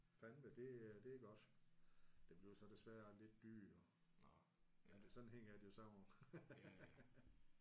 Ja fandeme det det er godt. Det bliver så desværre lidt dyrere men sådan hænger det jo sammen